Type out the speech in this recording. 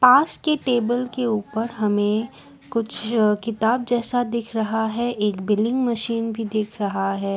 पास के टेबल के ऊपर हमें कुछ किताब जैसा दिख रहा है एक बिलिंग मशीन भी दिख रहा है।